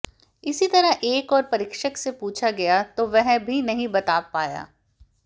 इसी तरह एक और परीक्षक से पूछा गया तो वह भी नहीं बता पाया